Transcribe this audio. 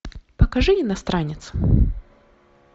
покажи иностранец